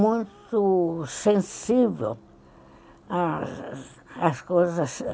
muito sensível às coisas.